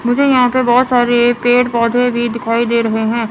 मुझे यहां पे बहुत सारे पेड़ पौधे भी दिखाई दे रहे हैं।